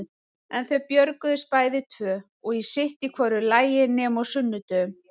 En þau björguðust bæði tvö og sitt í hvoru lagi nema á sunnudögum.